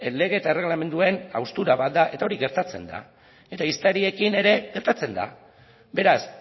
lege eta erregelamenduen haustura bat da eta hori gertatzen da eta ehiztariekin ere gertatzen da beraz